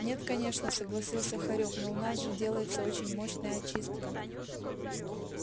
нет конечно согласился хорёк но у нас же делается очень мощная очистка